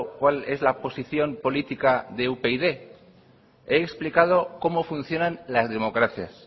cuál es la posición política de upyd he explicado cómo funcionan las democracias